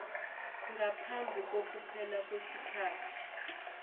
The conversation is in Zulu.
ngaphambi kokuphela kwesikhathi